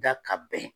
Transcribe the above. Da ka bɛn